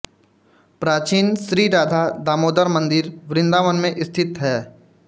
प्राचीन श्रीराधा दामोदर मंदिर वृंदावन में स्थित है